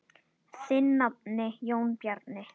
Þinn nafni, Jón Bjarni.